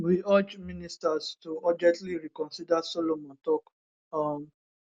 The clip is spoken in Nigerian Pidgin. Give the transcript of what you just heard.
we urge ministers to urgently reconsider solomon tok um